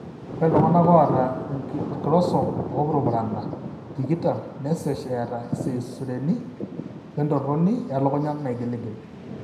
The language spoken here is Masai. Ore iltung'anak oata inchromosome oopurupurana tikitam nesesh eata iseizureni oentoroni elukunya naigiligil.